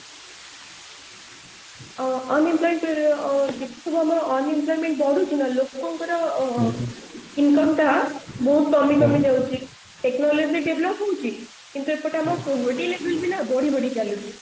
ଆଉ unemployed ଙ୍କର ଯେତେ ସବୁ ଆମ unemployment ବଢୁଛି ନା ଲୋକଙ୍କର income ଟା ବହୁତ କମି କମି ଯାଉଛି technology develop ହଉଛି କିନ୍ତୁ ଏପଟେ ଆମ ବଢି ବଢି ଚାଲିଛି